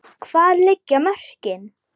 Hvar liggja mörkin?